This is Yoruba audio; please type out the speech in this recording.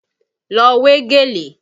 Lọ wé gèlè!